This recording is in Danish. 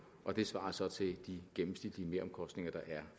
og det svarer så til de gennemsnitlige meromkostninger der er